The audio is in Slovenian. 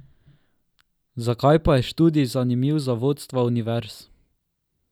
Zakaj pa je študij zanimiv za vodstva univerz?